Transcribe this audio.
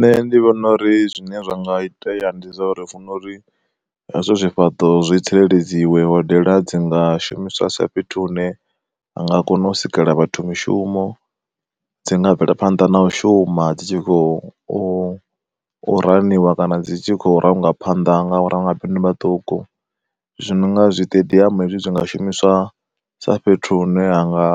Nṋe ndi vhona uri zwine zwa nga itea ndi zwa uri funa uri hezwo zwifhaṱo zwi tsireledziwa hodela dzi nga shumiswa sa fhethu hune ha nga kona u sikela vhathu mishumo. Dzi nga bvelaphanḓa na u shuma dzi tshi khou u raniwa kana dzi tshi khou ranga phanda nga vho ramabindu vhaṱuku, zwi no nga zwiṱediamu hezwi zwi nga shumiswa sa fhethu hune ha nga